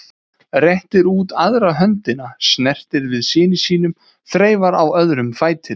Réttir út aðra höndina, snertir við syni sínum, þreifar á öðrum fætinum.